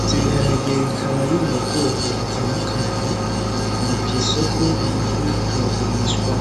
ivyo biharage bikaba biri mu bwoko butandukanye biri kw'isoko biriko biragurishwa.